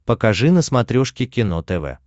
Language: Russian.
покажи на смотрешке кино тв